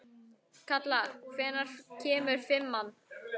Kalla, hvenær kemur fimman?